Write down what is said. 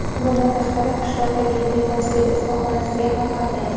Bundan tashqari qishloqdagi temirchilik ustaxonasiga ham qatnaydi.